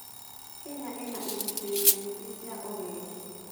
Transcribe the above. Kenya ĩna igũcĩrĩrio nyingĩ cia ũgendi.